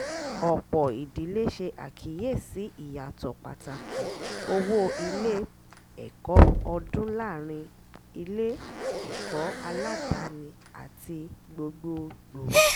ọ̀pọ̀ ìdílé ṣe àkíyèsí ìyàtọ̀ pàtàkì owó ilé-ẹ̀kọ́ ọdún láàárín ilé-ẹ̀kọ́ aládàání àti gbogbogbò